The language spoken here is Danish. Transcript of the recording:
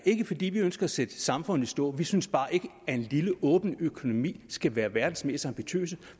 fordi vi ønsker at sætte samfundet i stå vi synes bare ikke at en lille åben økonomi skal være verdens mest ambitiøse